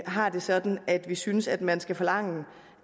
har det sådan at vi synes at man skal forlange